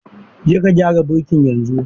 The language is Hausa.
Je ka gyara birki yanzu!